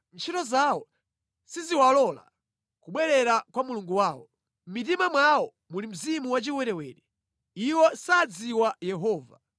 “Ntchito zawo siziwalola kubwerera kwa Mulungu wawo. Mʼmitima mwawo muli mzimu wachiwerewere; Iwo sadziwa Yehova.